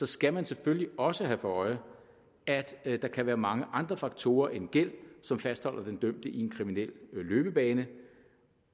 skal man selvfølgelig også have for øje at der kan være mange andre faktorer end gæld som fastholder den dømte i en kriminel løbebane